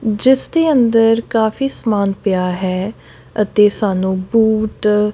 ਜਿਸ ਦੇ ਅੰਦਰ ਕਾਫੀ ਸਮਾਨ ਪਿਆ ਹੈ ਅਤੇ ਸਾਨੂੰ ਬੂਟ।